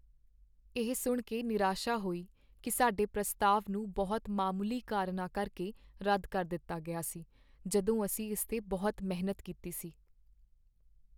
ਇਹ ਸੁਣ ਕੇ ਨਿਰਾਸ਼ਾ ਹੋਈ ਕਿ ਸਾਡੇ ਪ੍ਰਸਤਾਵ ਨੂੰ ਬਹੁਤ ਮਾਮੂਲੀ ਕਾਰਨਾਂ ਕਰਕੇ ਰੱਦ ਕਰ ਦਿੱਤਾ ਗਿਆ ਸੀ ਜਦੋਂ ਅਸੀਂ ਇਸ 'ਤੇ ਬਹੁਤ ਮਿਹਨਤ ਕੀਤੀ ਸੀ।